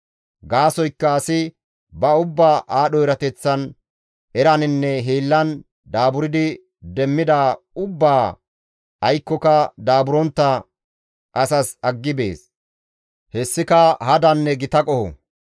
Gaasoykka asi ba ubbaa aadho erateththan, eraninne hiillan daaburdi demmidaa ubbaa aykkoka daaburontta asas aggi bees; hessika hadanne gita qoho.